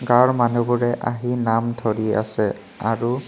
গাওঁৰ মানুহবোৰে আহি নাম ধৰি আছে আৰু--